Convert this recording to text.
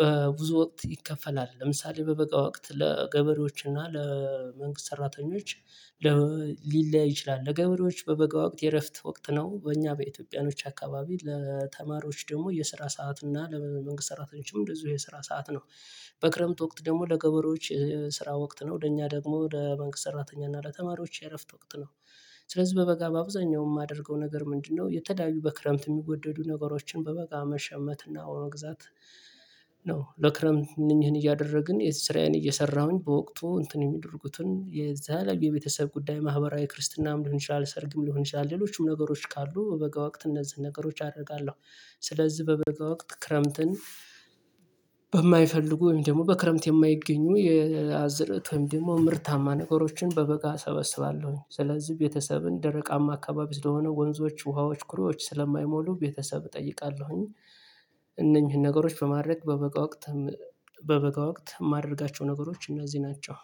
በብዙ ወቅት ይከፈላል ለምሳሌ በበጋ ወቅት ለገበሬዎች እና ለመንግስት ሰራተኞች ሊለያይ ይችላል ለገበሬዎች በበጋ ወቅት የእረፍት ወቅት ነው፤ በእኛ በኢትዮጵያኖች አካባቢ ለተማሪዎች ደግሞ የስራ ሰዓት እና ለመንግስት ሰራተኞችም እንደዚሁ የስራ ሰዓት ነው። በክረምት ወቅት ደግሞ ለገበሬዎች ስራ ወቅት ነው ለእኛ ደግሞ ለባንክ ሰራተኛ እና ለተማሪዎች የእረፍት ወቅት ነው። ስለዚህ በበጋ በአብዛኛው የማደርገው ነገር ምንድነው የተለያዩ በክረምት የሚወደዱ ነገሮችን በበጋ መሸመትና መግዛት ነው። ለክረምት እነኚህን እያደረግን ስራዬን እየሰራሁኝ በወቅቱ እንትን የሚደረጉትን የዛ የቤተሰብ ጉዳይ፣ ማህበራዊ ክርስትናም ሊሆን ይችላል፣ ሰርግም ሊሆን ይችላል፣ ሌሎችም ነገሮች ካሉ በበጋ ወቅት እነዚህን ነገሮች አደርጋለሁ። ስለዚህ በበጋ ወቅት ክረምትን በማይፈልጉ ወይም ደግሞ በክረምት የማይገኙ የአዝዕርት ወይም ደግሞ ምርታማ ነገሮችን በበጋ እሰበስባለሁኝ። ስለዚህ ቤተሰብን ደረቃማ አካባቢ ስለሆነ ወንዞች፣ ውሃዎች፣ ኩሮዎች ስለማይሞሉ ቤተሰብ እጠይቃለሁኝ እነኚህን ነገሮች በማድረግ በበጋ ወቅት በበጋ ወቅት የማደርጋቸው ነገሮች እነዚህ ናቸው።